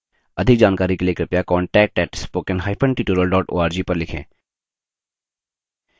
अधिक जानकारी के लिए कृपया contact @spokentutorial org पर लिखें